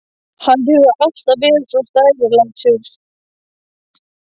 Hann hefur alltaf verið svo stærilátur.